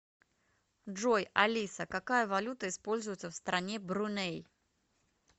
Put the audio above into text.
джой алиса какая валюта используется в стране бруней